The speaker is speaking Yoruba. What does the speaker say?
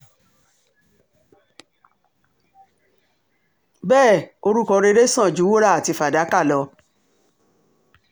bẹ́ẹ̀ orúkọ rere sàn ju wúrà àti fàdákà lọ